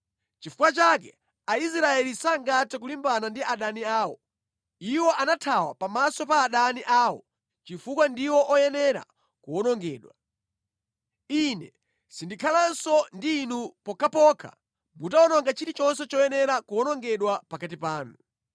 Nʼchifukwa chake Aisraeli sangathe kulimbana ndi adani awo. Iwo anathawa pamaso pa adani awo chifukwa ndiwo oyenera kuwonongedwa. Ine sindikhalanso ndi inu pokhapokha mutawononga chilichonse choyenera kuwonongedwa pakati panu.